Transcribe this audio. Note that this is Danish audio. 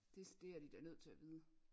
Det det er de da nødt til at vide